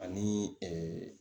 Ani